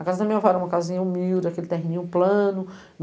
A casa da minha avó era uma casinha humilde, aquele terrinho plano.